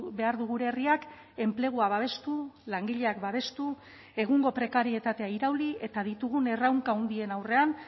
behar du gure herriak enplegua babestu langileak babestu egungo prekarietatea irauli eta ditugun erronka handien aurrean